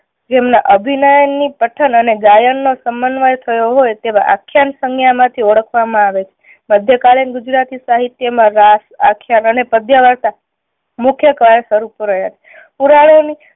જેમના અભિનય ની પઠન અને ગાયન નો સમન્વય થયો હોય તેવા આખ્યાન સંજ્ઞા માંથી ઓળખવામાં આવે છે. મધ્ય કાલીન ગુજરાતી સાહિત્ય માં રાસ આખ્યાન અને પધ્યવાર્તા મુખ્ય કારણ સ્વરૂપ રહ્યા છે. પુરાણો ની